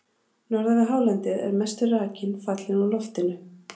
Norðan við hálendið er mestur rakinn fallinn úr loftinu.